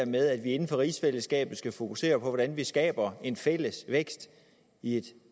med at vi inden for rigsfællesskabet skal fokusere på hvordan vi skaber en fælles vækst i et